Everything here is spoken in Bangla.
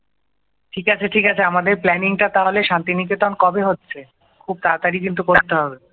ঠিক আছে ঠিক আছে আমাদের প্ল্যানিং টা তাহলে শান্তিনিকেতন কবে হচ্ছে খুব তাড়াতাড়ি কিন্তু করতে হবে